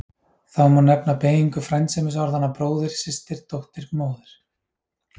Þá má nefna beygingu frændsemisorðanna bróðir, systir, dóttir, móðir.